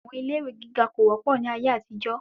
Àwọn ilé ìwé gíga kò wọ́pọ̀ ni ayé àtijó.